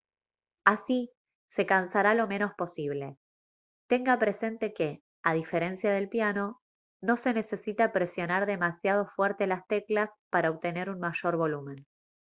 así se cansará lo menos posible tenga presente que a diferencia del piano no se necesita presionar demasiado fuerte las teclas para obtener un mayor volumen